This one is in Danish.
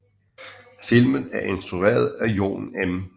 Filmen er instrueret af Jon M